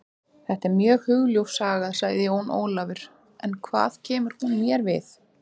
Þetta er mjög hugljúf saga, sagði Jón Ólafur, en hvað kemur hún mér við?